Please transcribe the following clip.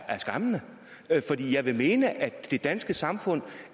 er skræmmende fordi jeg vil mene at det danske samfund